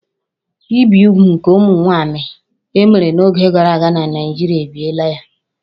Ibi úgwù nke ụmụ nwanyị e mere n'oge gara aga na Naijiria, ebibiela ya